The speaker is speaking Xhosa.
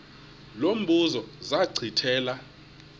lo mbuzo zachithela